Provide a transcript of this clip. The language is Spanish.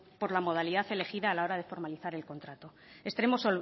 por la modalidad elegida a la hora de formalizar el contrato extremo